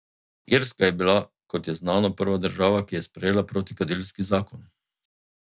Irska je bila, kot je znano, prva država, ki je sprejela protikadilski zakon.